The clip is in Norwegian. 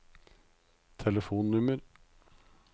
telefonnummer